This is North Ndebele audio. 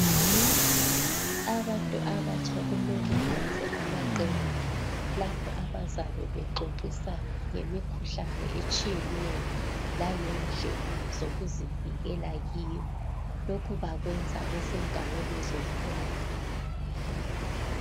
Abantu abatsha kumele benze amaqembu lapho abazabe bexoxisana ngemikhuhlane etshiyeneyo langendlela zokuzivikela kiyo lokhu bakwenza besendaweni zomtholampilo.